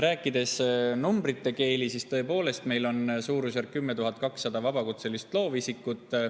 Rääkides numbrite keeli: tõepoolest meil on suurusjärgus 10 200 vabakutselist loovisikut.